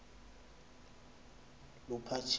luphatheni